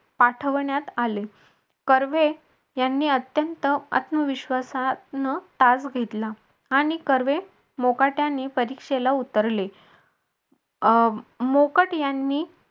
पाठवण्यात आले त्यांनी कर्वे यांनी अत्यंत आत्मविश्वास पूर्ण तास घेतला आणि कर्वे मुकाट्याने परीक्षेला उतरले अं मोकट यांनी